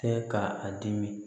Tɛ ka a dimi